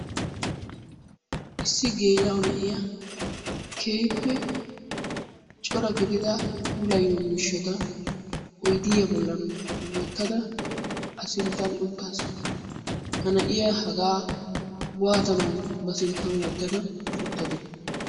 Issi geela'o na'iya keehippe puula gidida puulayiyo miishshata ayidiya bollan wottada a sinttan uttaasu. Ippe cora gidida puulayiyo miishsha oyidiya bollan wottada. Ha na'iya hagaa waatanawu ba sinttan wottada uttadee?